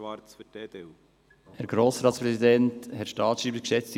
Für die EDU hat Grossrat Schwarz das Wort.